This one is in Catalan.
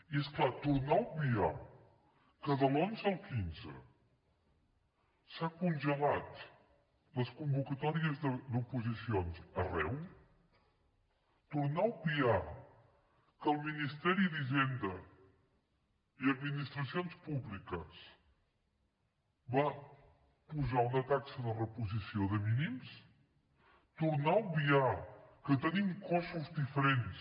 i és clar tornar a obviar que de l’onze al quinze s’han congelat les convocatòries d’oposicions arreu tornar a obviar que el ministeri d’hisenda i administracions públiques va posar una taxa de reposició de mínims tornar a obviar que tenim cossos diferents